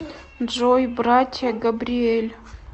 джой братья габриэль